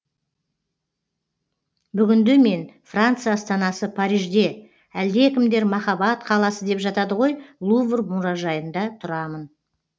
бүгінде мен франция астанасы парижде әлдекімдер махаббат қаласы деп жатады ғой лувр мұражайында тұрамын